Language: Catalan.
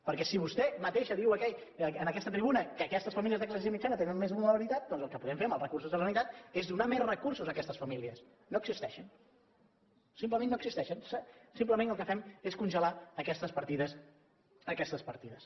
perquè si vostè mateixa diu en aquesta tribuna que aquestes famílies de classe mitjana tenen més vulnerabilitat doncs el que podem fer amb els recursos de la generalitat és donar més recursos a aquestes famílies no existeixen simplement no existeixen simplement el que fem és congelar aquestes partides